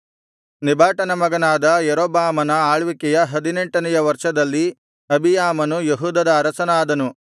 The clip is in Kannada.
ನೆಬಾಟನ ಮಗನಾದ ಯಾರೊಬ್ಬಾಮನ ಆಳ್ವಿಕೆಯ ಹದಿನೆಂಟನೆಯ ವರ್ಷದಲ್ಲಿ ಅಬೀಯಾಮನು ಯೆಹೂದದ ಅರಸನಾದನು